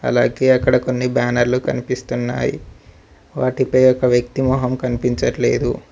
అలాగే అక్కడ కొన్ని బ్యానర్లు కనిపిస్తున్నాయి వాటిపై ఒక వ్యక్తి మొహం కనిపించట్లేదు.